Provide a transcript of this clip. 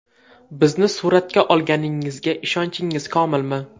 Bizni suratga olganingizga ishonchingiz komilmi?